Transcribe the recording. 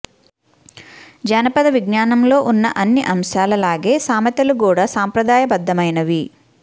జానపద విజ్ఞానంలో ఉన్న అన్ని అంశాల లాగే సామెతలు కూడా సంప్రదాయబద్ధమైనవి